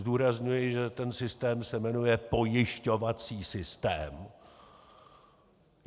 Zdůrazňuji, že ten systém se jmenuje pojišťovací systém.